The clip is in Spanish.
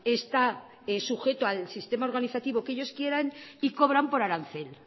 está sujeto al sistema organizativo que ellos quieran y cobran por arancel